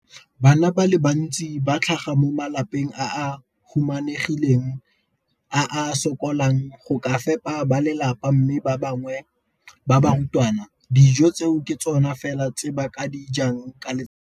Bana ba le bantsi ba tlhaga mo malapeng a a humanegileng a a sokolang go ka fepa ba lelapa mme ba bangwe ba barutwana, dijo tseo ke tsona fela tse ba di jang ka letsatsi.